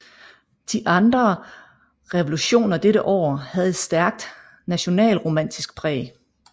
De andre revolutioner dette år havde et stærkt nationalromantisk præg